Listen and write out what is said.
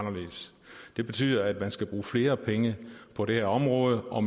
det betyder at man skal bruge flere penge på det her område og